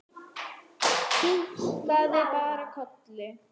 Kinkaði bara kolli.